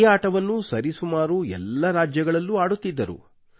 ಈ ಆಟವನ್ನು ಸರಿ ಸುಮಾರು ಎಲ್ಲಾ ರಾಜ್ಯಗಳಲ್ಲೂ ಆಡುತ್ತಿದ್ದರು